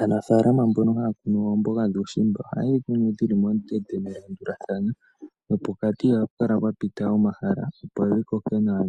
Aanafaalama mbono ha ya kunu oomboga dhuushimba, oha ye dhi kunu dhi li momikweyo, dha landulathana, nopokati iha pu kala pena omahala opo dhi koke nawa